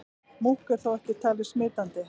Múkk er þó ekki talið smitandi.